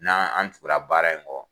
N' an tugura baara in kɔ.